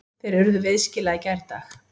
Þeir urðu viðskila í gærdag.